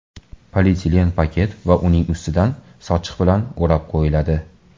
Polietilen paket va uning ustidan sochiq bilan o‘rab qo‘yiladi.